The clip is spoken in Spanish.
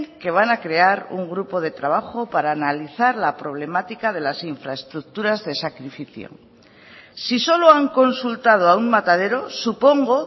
que van a crear un grupo de trabajo para analizar la problemática de las infraestructuras de sacrificio si solo han consultado a un matadero supongo